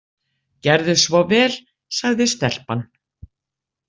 Gerðu svo vel, sagði stelpan.